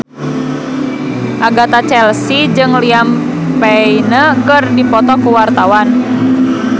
Agatha Chelsea jeung Liam Payne keur dipoto ku wartawan